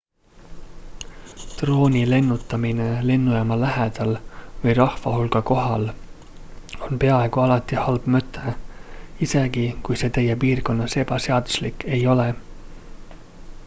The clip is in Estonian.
drooni lennutamine lennujaama lähedal või rahvahulga kohal on peaaegu alati halb mõte isegi kui see teie piirkonnas ebaseaduslik ei ole